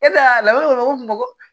E nana bamakɔ